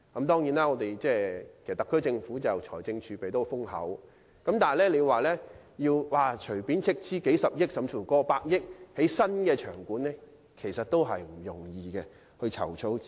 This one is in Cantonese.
雖然特區政府的財政儲備十分豐厚，但要隨便斥資數十億元甚至過百億元興建新場館，在籌措資金方面也不容易。